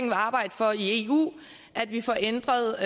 vil arbejde for i eu at vi får ændret